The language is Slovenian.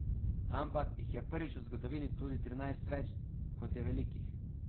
Ampak jih je prvič v zgodovini tudi trinajst več, kot je velikih.